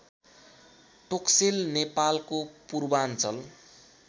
टोक्सेल नेपालको पूर्वाञ्चल